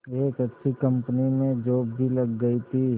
एक अच्छी कंपनी में जॉब भी लग गई थी